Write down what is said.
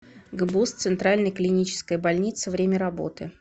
гбуз центральная клиническая больница время работы